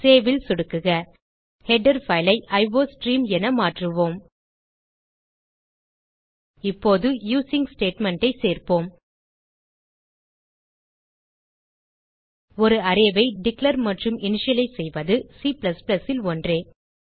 Saveல் சொடுக்குக header file ஐ iostream என மாற்றுவோம் இப்போது யூசிங் statementஐ சேர்ப்போம் ஒரு அரே ஐ டிக்ளேர் மற்றும் இனிஷியலைஸ் செய்வது C ல் ஒன்றே